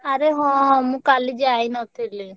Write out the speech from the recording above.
ଆରେ ହଁ ମୁଁ କାଲି ଯାଇ ନ ଥିଲି।